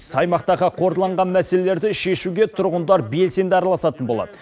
аймақтағы қордаланған мәселелерді шешуге тұрғындар белсенді араласатын болады